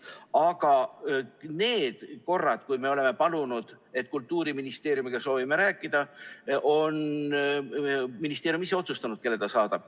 Aga kõik need korrad, kui me oleme palunud, et soovime Kultuuriministeeriumiga rääkida, on ministeerium ise otsustanud, kelle ta meile saadab.